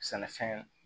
Sɛnɛfɛn